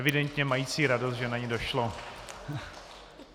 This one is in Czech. Evidentně mající radost, že na ni došlo.